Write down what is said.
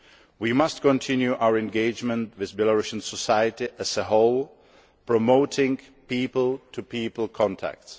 We must continue our engagement with Belarusian society as a whole, promoting people to people contacts.